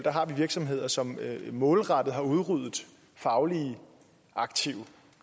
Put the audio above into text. har vi virksomheder som målrettet har udryddet fagligt aktive